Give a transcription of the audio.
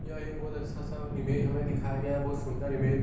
यह एक बहुत अच्छा सा इमेज हमें दिखाया गया है बहुत सुन्दर इमेज --